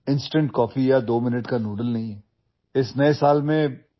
ती काही instant coffee किंवा दोन मिनिटात तयार होणारे नूडल्स नव्हे